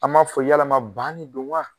An b'a fɔ yala ban de don wa?